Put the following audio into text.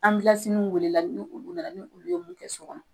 welela ni olu ni olu nana ni olu ye mun kɛ so kɔnɔ